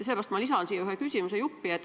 Sellepärast ma lisan siia ühe küsimusejupi.